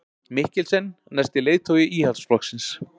Mikkelsen næsti leiðtogi Íhaldsflokksins